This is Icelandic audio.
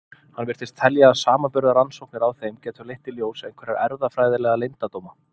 Hann virtist telja að samanburðarrannsóknir á þeim gætu leitt í ljós einhverja erfðafræðilega leyndardóma.